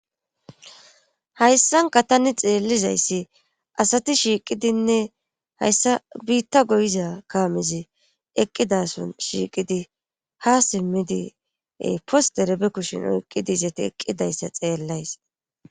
hayssanka ta ni xeellizayssi asati shiiqidinne hayssa biitta goyiza kaamizi eqqidason shiiqidi ha simmidi posterebe kushin oyqqidi izati eqqidayssa xeellays